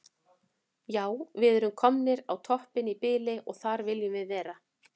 Já við erum komnir á toppinn í bili og þar viljum við vera.